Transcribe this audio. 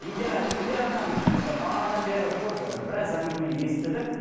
индира индира ханым бағанадан бері көп біраз әңгіме естідік